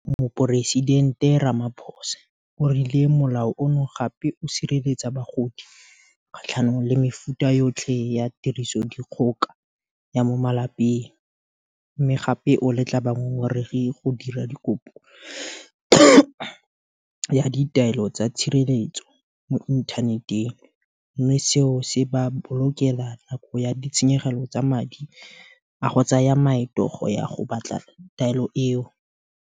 Moporesidente Ramaphosa o rile Molao ono gape o sireletsa bagodi kgatlhanong le mefuta yotlhe ya tirisodikgoka ya mo malapeng, mme gape o letla bangongoregi go dira kopo ya ditaelo tsa tshireletso mo inthaneteng, mme seo se ba bolokela nako le ditshenyegelo tsa madi a go tsaya maeto go ya go batla taelo eo.